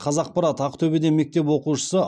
қазақпарат ақтөбеде мектеп оқушысы